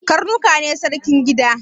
Karnuka ne sarkin gida